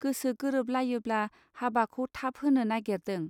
गोसो गोरोब लायोब्ला हाबाखौ थाब होनो नागिरदों.